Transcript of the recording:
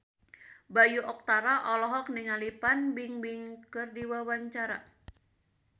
Bayu Octara olohok ningali Fan Bingbing keur diwawancara